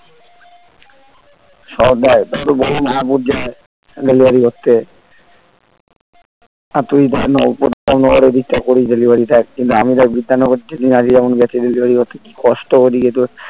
সব দেয় . delivery করতে আর তুই করিস delivery তা একদিন আমি দেখ বিধাননগর delivery করতে কি কষ্ট ঐদিকে তোর